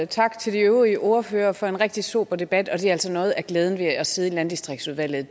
tak til de øvrige ordførere for en rigtig sober debat noget af glæden ved at sidde i landdistriktsudvalget